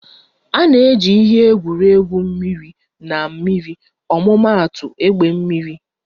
A na-eji ihe eji egwuri egwu mmiri na mmiri ọmụmaatụ egbe mmiri